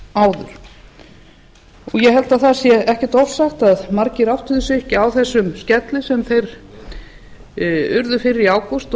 áður ég held að það sé ekkert ofsagt að margir áttuðu sig ekki á þessum skelli sem þeir urðu fyrir í ágúst